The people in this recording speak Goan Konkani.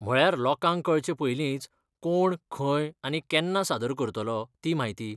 म्हळ्यार लोकांक कळचें पयलींच कोण, खंय आनी केन्ना सादर करतलो ती म्हायती?